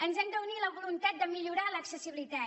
ens ha d’unir la voluntat de millorar l’accessibilitat